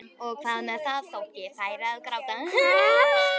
Og hvað með það þótt ég færi að gráta?